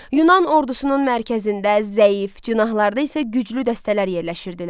Yunan ordusunun mərkəzində zəif, cinahlarda isə güclü dəstələr yerləşirdilər.